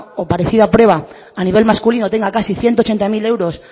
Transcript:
o parecida prueba a nivel masculino tenga casi ciento ochenta mil euros